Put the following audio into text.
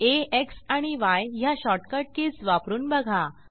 आ X आणि य ह्या शॉर्टकट कीज वापरून बघा